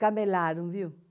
Camelaram, viu?